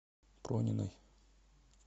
прониной